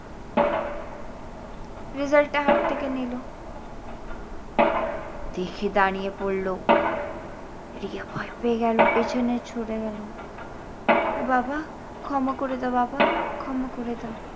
result টা হাত থেকে নিল দেখে দাঁড়িয়ে পড়লো। রিয়া ভয় পেয়ে গেল পেছনে চলে গেল আহ বাবা, ক্ষমা করে দাও বাবা, ক্ষমা করে দাও।